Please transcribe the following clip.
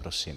Prosím.